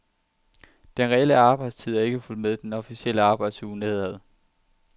Den reelle arbejdstid er ikke fulgt med den officielle arbejdsuge nedad.